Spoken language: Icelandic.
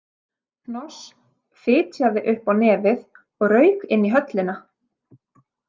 Hnoss fytjaði upp á nefið og rauk inn í höllina.